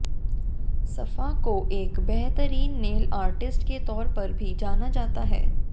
सफा को एक बेहतरीन नेल आर्टिस्ट के तौर पर भी जाना जाता है